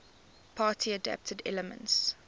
party adapted elements